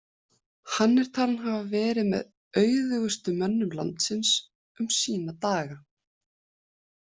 Hann er talinn hafa verið með auðugustu mönnum landsins um sína daga.